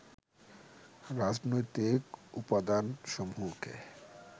রাজনৈতিক উপাদানসমূহকে